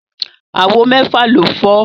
Àwo mẹ́fà ló fọ́